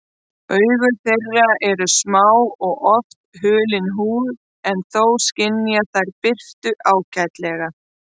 Augu þeirra eru smá og oft hulin húð en þó skynja þær birtu ágætlega.